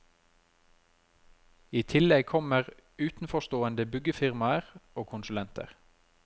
I tillegg kommer utenforstående byggefirmaer og konsulenter.